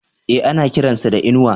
E, ana kiran sa da Inuwa.